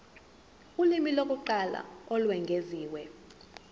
ulimi lokuqala olwengeziwe